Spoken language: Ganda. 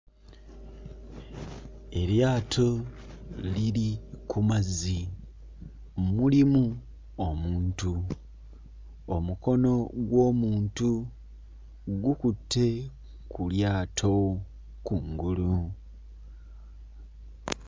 Eryato liri ku mazzi mulimu omuntu omukono gw'omuntu gukutte ku lyato kungulu.